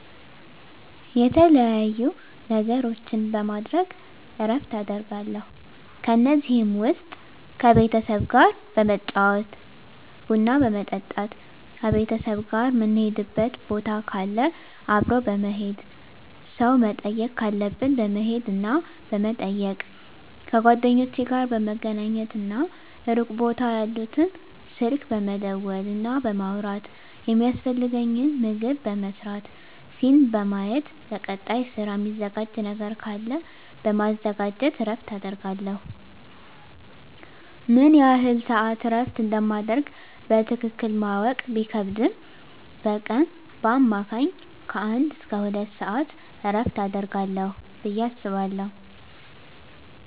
የተለያዩ ነገሮችን በማድረግ እረፍት አደርጋለሁ ከነዚህም ውስጥ ከቤተሰብ ጋር በመጫወት ቡና በመጠጣት ከቤተሰብ ጋር ምንሄድበት ቦታ ካለ አብሮ በመሄድ ሰው መጠየቅ ካለብን በመሄድና በመጠየቅ ከጓደኞቼ ጋር በመገናኘትና ሩቅ ቦታ ያሉትን ስልክ በመደወልና በማውራት የሚያስፈልገኝን ምግብ በመስራት ፊልም በማየት ለቀጣይ ስራ ሚዘጋጅ ነገር ካለ በማዘጋጀት እረፍት አደርጋለሁ። ምን ያህል ስዓት እረፍት እንደማደርግ በትክክል ማወቅ ቢከብድም በቀን በአማካኝ ከአንድ እስከ ሁለት ሰዓት እረፍት አደርጋለሁ ብየ አስባለሁ።